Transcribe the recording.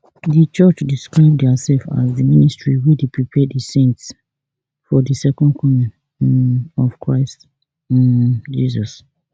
di church describe diasef as di ministry wey dey prepare di saints for di second coming um of christ um jesus